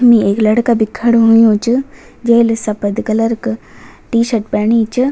यम्मि एक लड़का भी खडू हुयुं च जेल सपद कलर क टी-शर्ट पैणी च।